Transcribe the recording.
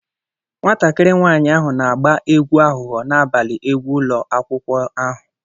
Nwatakịrị nwanyị ahụ na-agba egwu aghụghọ n'abalị egwu ụlọ akwụkwọ ahụ.